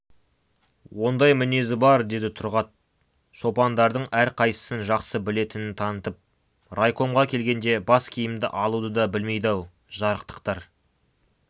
ондай мінезі бар деді тұрғат шопандардың әрқайсысын жақсы білетінін танытып райкомға келгенде бас киімді алуды да білмейді-ау жарықтықтар